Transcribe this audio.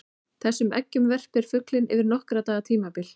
Þessum eggjum verpir fuglinn yfir nokkurra daga tímabil.